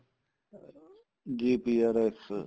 GPRS